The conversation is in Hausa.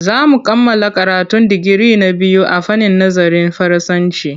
Za mu kammala karatun digiri na biyu a fannin nazarin Faransanci.